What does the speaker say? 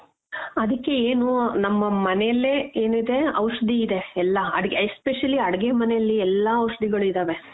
ಆದಿಕ್ಕೆ ಏನು ನಮ್ಮ ಮನೆಲೆ ಏನಿದೆ ಔಷಧಿ ಇದೆ ಎಲ್ಲಾ especially ಅಡಿಗೆ ಮನೇಲಿ ಎಲ್ಲಾ ಔಷಧಿಗಳು ಇದಾವೆ